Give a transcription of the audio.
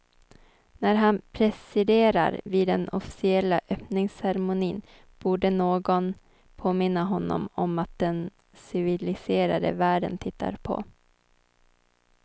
När han presiderar vid den officiella öppningsceremonin borde någon påminna honom om att den civiliserade världen tittar på.